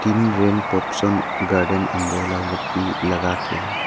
rain पॉप्सन garden umbrella लगाके--